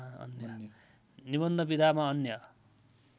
निबन्ध विधामा अन्य